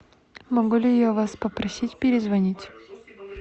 могу ли я вас попросить перезвонить